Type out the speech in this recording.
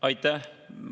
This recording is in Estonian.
Aitäh!